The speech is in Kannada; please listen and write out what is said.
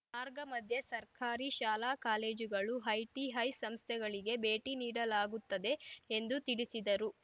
ಮಾರ್ಗ ಮಧ್ಯೆ ಸರ್ಕಾರಿ ಶಾಲಾ ಕಾಲೇಜುಗಳು ಐಟಿಐ ಸಂಸ್ಥೆಗಳಿಗೆ ಭೇಟಿ ನೀಡಲಾಗುತ್ತದೆ ಎಂದು ತಿಳಿಸಿದರು